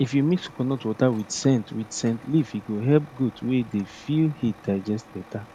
if you mix coconut water with scent with scent leaf e go help goat wey dey feel heat digest better